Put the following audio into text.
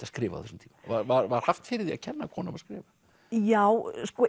skrifa á þessum tíma var haft fyrir því að kenna konum að skrifa já